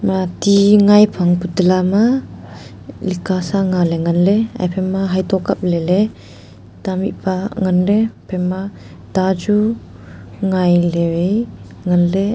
ema ti ngai phang putala ma lika sa nganley nganley aphaima hayeto kap leley ta mihpa ngan ley aphaima ta chu ngailey wai nganley.